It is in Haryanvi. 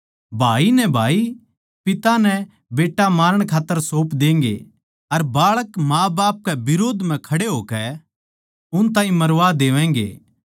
भाई नै भाई पिता नै बेट्टा मारण खात्तर सौंप देंगें अर बाळक माँबाप कै बिरोध म्ह खड़े होकै उन ताहीं मरवा देवैगें